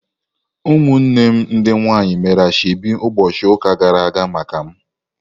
Ụmụnne m ndị nwanyị mere asheobi ụbọchị ụka gara aga maka m.